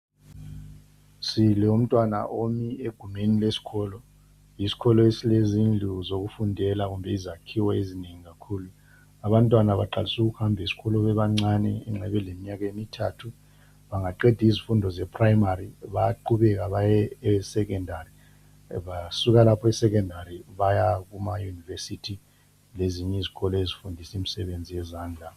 Silomntwana omi egumeni lesikolo. Yisikolo esilezindlu zokufundela kumbe izakhiwo ezinengi kakhulu. Abantwana baqalisa ukuhamba esikolo bebancane nxa beleminyaka emithathu. Bengaqeda izifundo zeprimary bayaqhubeka baye esecondary basuke lapho esecondary baya kumayunivesithi lezinye izikolo ezifundisa imisebenzi yezandla.